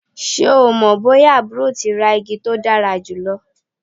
Ṣe o mọ boya aburo ti ra igi to dara julọ?